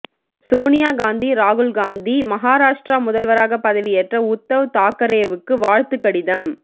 சோனியா காந்தி ராகுல் காந்தி மகாரஷ்டிரா முதல்வராக பதவியேற்ற உத்தவ் தாக்கரேவுக்கு வாழ்த்து கடிதம்